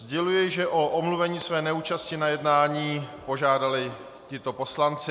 Sděluji, že o omluvení své neúčasti na jednání požádali tito poslanci.